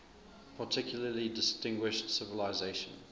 particularly distinguished civilization